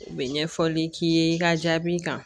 U bɛ ɲɛfɔli k'i ye i ka jaabi kan